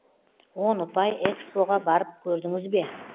он ұпай экспо ға барып көрдіңіз бе